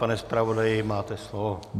Pane zpravodaji, máte slovo.